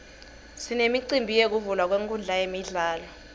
sinemicimbi yekuvulwa kwenkhundla yemidlalo